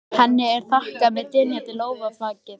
Henni er þakkað með dynjandi lófataki.